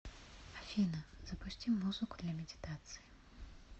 афина запусти музыку для медитации